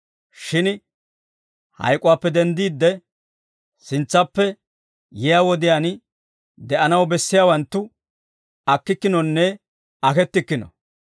Shin hayk'uwaappe denddiide, sintsappe yiyaa wodiyaan de'anaw bessiyaawanttu akkikkinonne akettikkino.